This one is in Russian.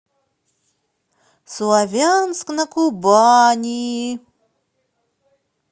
славянск на кубани